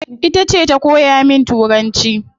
Itace ta koya min turanci